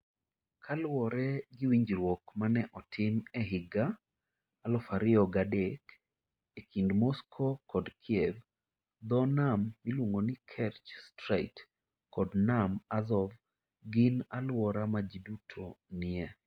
Kaluwore gi winjruok ma ne otim e higa 2003 e kind Moscow kod Kiev, dho nam miluongo ni Kerch Strait kod Nam Azov gin alwora ma ji duto nie.